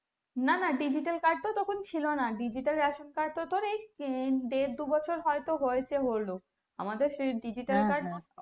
না না digital card তো তখন ছিলোনা digital ration card তো তোর এই দেড় দু বছর হয়তো হয়েছে হলো আমাদের সেই digital card